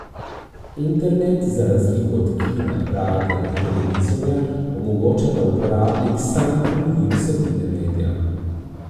Internet, za razliko od kina, radia in televizorja, omogoča, da uporabnik sam kroji vsebine medija.